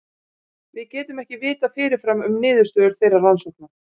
Við getum ekki vitað fyrirfram um niðurstöður þeirra rannsókna.